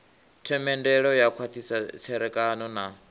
themendelo u khwathisa tserekano na